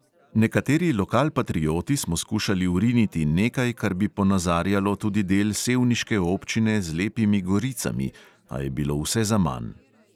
Nekateri lokalpatrioti smo skušali vriniti nekaj, kar bi ponazarjalo tudi del sevniške občine z lepimi goricami, a je bilo vse zaman.